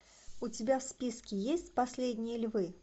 у тебя в списке есть последние львы